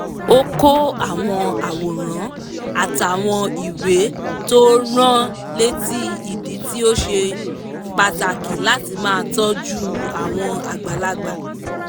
ó kó àwọn àwòrán àtàwọn ìwé tó rán an létí ìdí tí ó ṣe pàtàkì láti máa tọ́jú àwọn àgbàlagbà